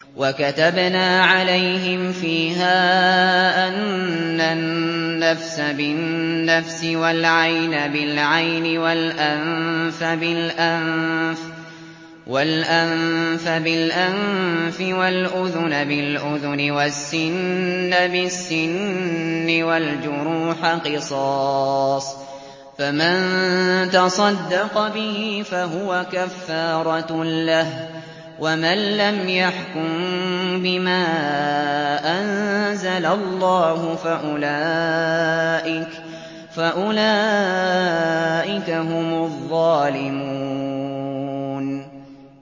وَكَتَبْنَا عَلَيْهِمْ فِيهَا أَنَّ النَّفْسَ بِالنَّفْسِ وَالْعَيْنَ بِالْعَيْنِ وَالْأَنفَ بِالْأَنفِ وَالْأُذُنَ بِالْأُذُنِ وَالسِّنَّ بِالسِّنِّ وَالْجُرُوحَ قِصَاصٌ ۚ فَمَن تَصَدَّقَ بِهِ فَهُوَ كَفَّارَةٌ لَّهُ ۚ وَمَن لَّمْ يَحْكُم بِمَا أَنزَلَ اللَّهُ فَأُولَٰئِكَ هُمُ الظَّالِمُونَ